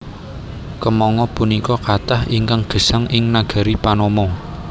Kèmangga punika kathah ingkang gesang ing nagari Panama